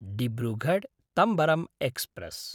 डिब्रुगढ्–तम्बरं express